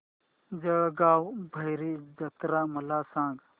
जळगाव भैरी जत्रा मला सांग